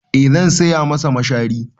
Eh zan saya masa mashari.